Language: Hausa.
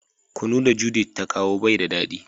Kunu da "Judith " ta kawo bai da dadi.